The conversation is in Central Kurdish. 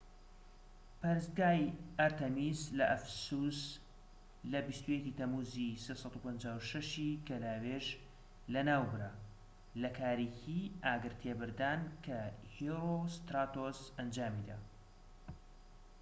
پەرستگای ئەرتەمیس لە ئەفەسوس لە 21ی تەمووز/356 ی گەلاوێژ لەناوبرا لە کارێکی ئاگرتێبەردان کە هێرۆستراتۆس ئەنجامیدا